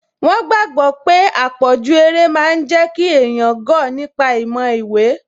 Wọ́n gbàgbọ̀ pé àpọ̀jù eré máa n jẹ́ kí èèyàn gọ̀ nípa ti ìmọ̀ ìwé